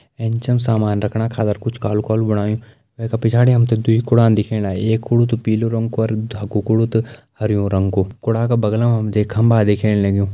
ऐंच म सामान रखणा खादर कुछ कालू-कालू बणयूं वे का पिछाड़ी हमते दुइ कुड़ान दिख्येण लागीं एक कुडू तो पीले रंग कु और धकु कुडू तो हरयु रंग कु कूड़ा का बगल में हमते एक खम्बा दिख्येण लगयूं।